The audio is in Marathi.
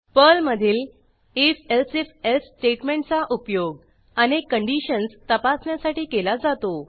पर्लमधील if elsif एल्से स्टेटमेंटचा उपयोग अनेक कंडिशन्स तपासण्यासाठी केला जातो